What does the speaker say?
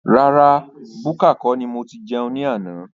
Rárá búkà kọ́ ni mo tí jẹun ní àna